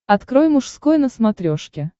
открой мужской на смотрешке